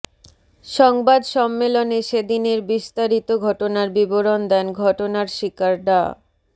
সংবাদ সম্মেলনে সেদিনের বিস্তারিত ঘটনার বিবরণ দেন ঘটনার শিকার ডা